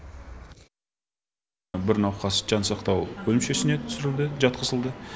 бір науқас жансақтау бөлімшесіне түсірілді жатқызылды